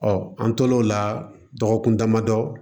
an tor'o la dɔgɔkun damadɔ